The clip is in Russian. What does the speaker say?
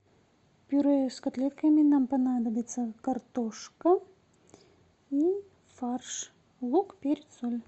пюре с котлетками нам понадобится картошка и фарш лук перец соль